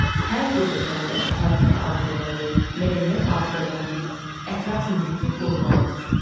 Hər bir vətəndaş tarixi abidələri, mədəniyyət abidələrini, ətraf mühiti qorumalıdır.